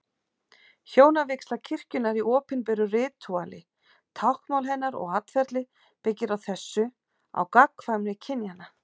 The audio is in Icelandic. Hjónavígsla kirkjunnar í opinberu ritúali, táknmál hennar og atferli byggir á þessu, á gagnkvæmni kynjanna.